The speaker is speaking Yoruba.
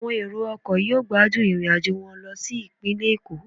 Àwọn èrò ọkọ̀ yóò gbádùn irinajo wọn lo si ipinle Eko